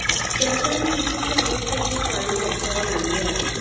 सरकारने विचित्र अवस्थेत ही पाळी त्यांच्यावर आणली आहे